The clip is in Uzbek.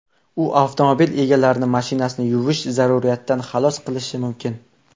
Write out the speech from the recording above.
U avtomobil egalarini mashinani yuvish zaruriyatidan xalos qilishi mumkin.